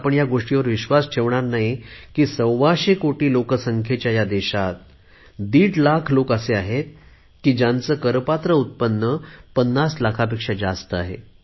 आपण ह्या गोष्टीवर विश्वास ठेवणार नाही की सव्वाशे कोटी लोकसंख्येच्या या देशात दीड लाख लोक असे आहेत की ज्यांचे करपात्र उत्पन्न पन्नास लाखापेक्षा जास्त आहे